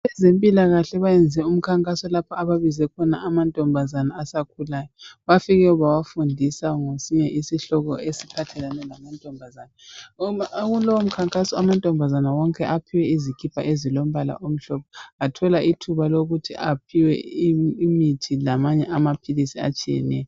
Abezempilakahle bayenze umkhankaso lapho ababize khona amantombazana asakhulayo. Bafike bawafundisa ngesinye isihloko esiphathelane lamantombazana. Kulowo umkhankaso amantombazane wonke aphiwe izikipa ezilombala omhlophe, bathola ithuba lokuthi aphiwe imithi lamanye amaphilisi atshiyeneyo.